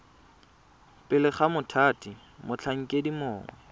pele ga mothati motlhankedi mongwe